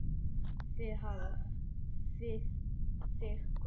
Þig hvað?